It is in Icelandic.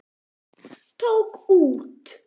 Tók út.